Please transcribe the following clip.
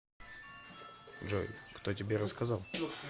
джой кто тебе рассказал